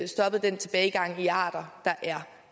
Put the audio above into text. stoppet den tilbagegang i arter der er